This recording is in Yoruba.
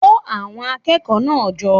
Kó àwon akékòó náà jo